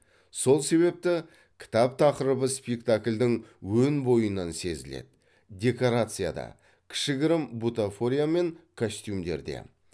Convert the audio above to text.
сол себепті кітап тақырыбы спектакльдің өн бойынан сезіледі декорацияда кішігірім бутафория мен костюмдерде